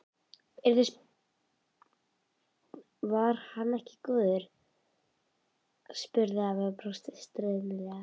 Var hann ekki góður? spurði afi og brosti stríðnislega.